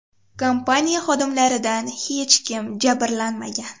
Kompaniya xodimlaridan hech kim jabrlanmagan.